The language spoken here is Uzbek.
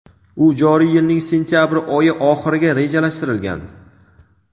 u joriy yilning sentyabr oyi oxiriga rejalashtirilgan.